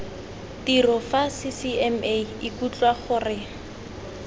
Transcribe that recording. tiro fa ccma ikutlwa gore